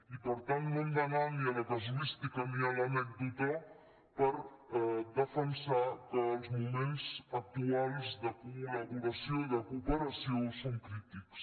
i per tant no hem d’anar ni a la casuística ni a l’anècdota per defensar que els moments actuals de col·laboració i de cooperació són crítics